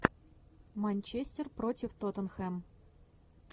манчестер против тоттенхэм